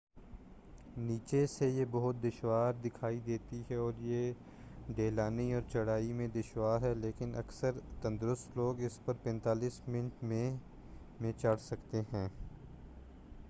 نیچے سے یہ بہت دشوار دکھائی دیتا ہے اور یہ ڈھلانی اور چڑھا ئی میں دشوار ہے لیکن اکثر تندرست لوگ اس پر 45 منٹ میں میں چڑھ سکتے ہیں